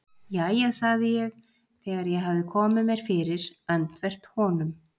Jæja sagði ég þegar ég hafði komið mér fyrir öndvert honum.